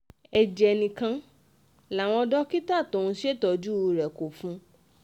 ẹ̀jẹ̀ nìkan làwọn dókítà tó ń ṣètọ́jú rẹ̀ kó fún un